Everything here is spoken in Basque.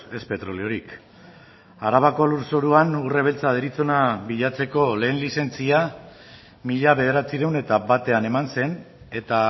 ez petroliorik arabako lurzoruan urre beltza deritzona bilatzeko lehen lizentzia mila bederatziehun eta batean eman zen eta